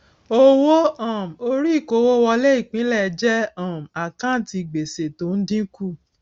owó um orí ìkówówọlé ipinle jẹ um àkántì gbèsè tó ń dínkù